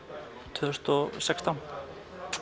tvö þúsund og sextán